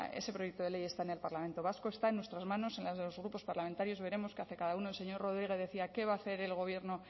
ese proyecto de ley está en el parlamento vasco está en nuestras manos en las de los grupos parlamentarios veremos qué hace cada uno el señor rodríguez decía qué va a hacer el gobierno